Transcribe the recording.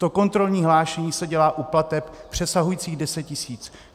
To kontrolní hlášení se dělá u plateb přesahujících 10 tisíc.